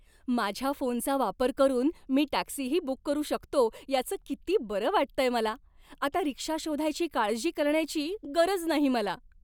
माझ्या फोनचा वापर करून मी टॅक्सीही बुक करू शकतो याचं किती बरं वाटतंय मला. आता रिक्षा शोधायची काळजी करण्याची गरज नाही मला.